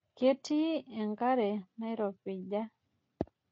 Ketii enkare nairopija.